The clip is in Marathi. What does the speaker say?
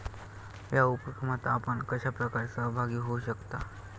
या उपक्रमात आपण कशाप्रकारे सहभागी होऊ शकता?